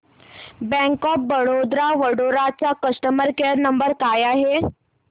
bank of Baroda Vadodara चा customer care number काय आहे